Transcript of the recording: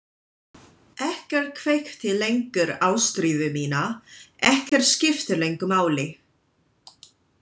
Ekkert kveikti lengur ástríðu mína, ekkert skipti lengur máli.